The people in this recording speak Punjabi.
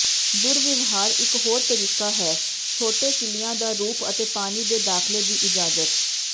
ਦੁਰਵਿਵਹਾਰ ਇੱਕ ਹੋਰ ਤਰੀਕਾ ਹੈ ਛੋਟੇ ਕਿੱਲਿਆਂ ਦਾ ਰੂਪ ਅਤੇ ਪਾਣੀ ਦੇ ਦਾਖਲੇ ਦੀ ਇਜਾਜ਼ਤ